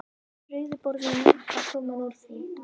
Rauði borðinn var kominn úr því.